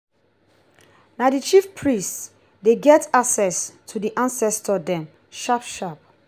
na di chief priest dey get access to di ancestor dem sharp-sharp.